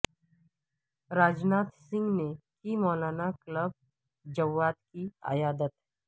راج ناتھ سنگھ نے کی مولانا کلب جواد کی عیادت